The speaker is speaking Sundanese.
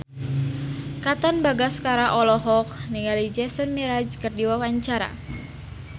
Katon Bagaskara olohok ningali Jason Mraz keur diwawancara